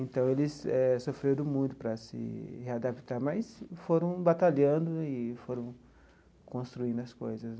Então, eles eh sofreram muito para se readaptar, mas foram batalhando e foram construindo as coisas.